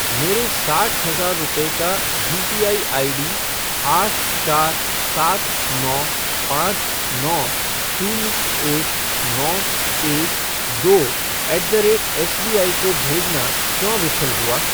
मेरे साठ हज़ार रुपये का यूपीआई आईडी आठ चार सात नौ पाँच नौ शून्य एक नौ एक दो ऐट द रेट एसबीआई को भेजना क्यों विफल हुआ?